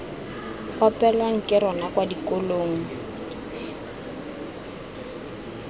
opelwang ke rona kwa dikolong